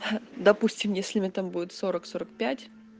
допустим если мне там будет сорок сорок пять